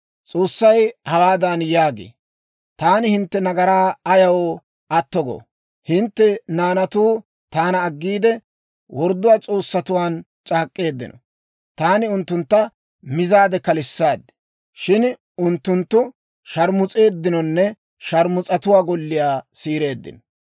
S'oossay hawaadan yaagee; «Taani hintte nagaraa ayaw atto goo? Hintte naanatuu taana aggiide, worddo S'oossatuwaan c'aak'k'eeddino. Taani unttuntta mizaade kalissaad; shin unttunttu sharmus'eeddinonne sharmus'atuwaa golliyaa siireeddino.